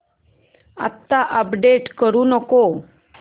आता अपडेट करू नको